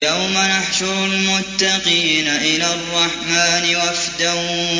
يَوْمَ نَحْشُرُ الْمُتَّقِينَ إِلَى الرَّحْمَٰنِ وَفْدًا